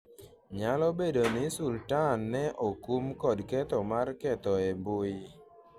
nyalo bedo ni Sultan ne okum kod ketho mar ketho e mbui,